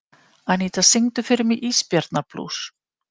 Anína, syngdu fyrir mig „Ísbjarnarblús“.